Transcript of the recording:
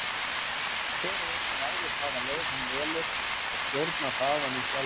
Hver og einn ræður hvaða leið hann velur og stjórnar hraðanum sjálfur.